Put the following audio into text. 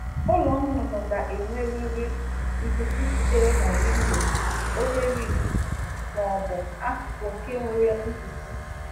Ụịọ ọkụkọ kwesịrị inwe ohere ebe ikuku si abata dịka ọnụ mpio, ụdo nkwu